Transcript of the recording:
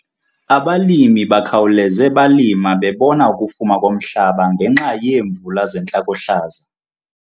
Abalimi bakhawuleze balima bebona ukufuma komhlaba ngenxa yeemvula zentlakohlaza.